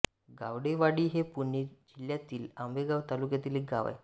गावडेवाडी हे पुणे जिल्ह्यातल्या आंबेगाव तालुक्यातील गाव आहे